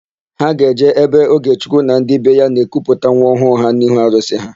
Ha ga-eje ebe Ogechukwu na ndị be ya na-ekuputa nwa ọhụụ ha n'ihu arụsị ha.